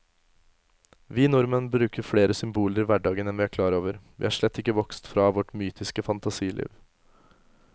Vi nordmenn bruker flere symboler i hverdagen enn vi er klar over, vi er slett ikke vokst fra vårt mytiske fantasiliv.